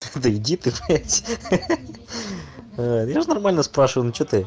да иди ты в я же нормально спрашиваю ну чего ты